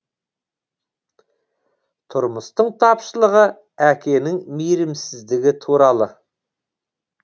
тұрмыстың тапшылығы әкенің мейірімсіздігі туралы